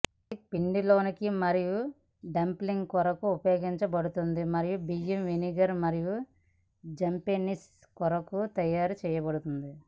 ఇది పిండిలోకి మరియు డంప్లింగ్ కొరకు ఉపయోగించబడుతుంది మరియు బియ్యం వెనిగర్ మరియు జపెనీస్ కొరకు తయారు చేయబడుతుంది